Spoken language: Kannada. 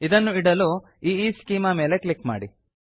ಇದನ್ನು ಇಡಲು ಈಸ್ಚೆಮಾ ಮೇಲೆ ಕ್ಲಿಕ್ ಮಾಡಿ